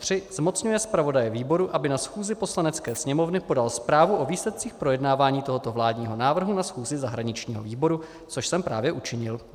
III. zmocňuje zpravodaje výboru, aby na schůzi Poslanecké sněmovny podal zprávu o výsledcích projednávání tohoto vládního návrhu na schůzi zahraničního výboru - což jsem právě učinil.